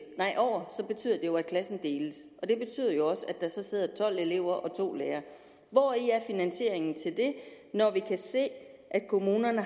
klassen deles og det betyder jo også at der så sidder tolv elever og to lærere hvor er finansieringen til det når vi kan se at kommunerne